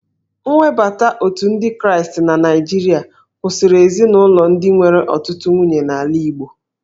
Nwebata Otu ndị Kraịstị na Naijiria kwụsịrị ezinaụlọ ndị nwere ọtụtụ nwunye n'ala Igbo